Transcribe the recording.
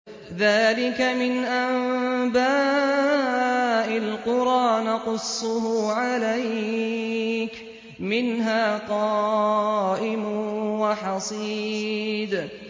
ذَٰلِكَ مِنْ أَنبَاءِ الْقُرَىٰ نَقُصُّهُ عَلَيْكَ ۖ مِنْهَا قَائِمٌ وَحَصِيدٌ